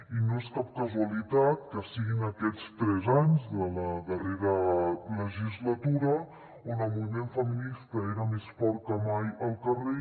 i no és cap casualitat que sigui en aquests tres anys de la darrera legislatura on el moviment feminista era més fort que mai al carrer